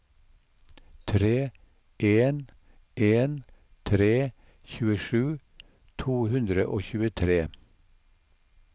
tre en en tre tjuesju to hundre og tjuetre